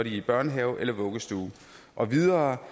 i børnehave eller vuggestue og videre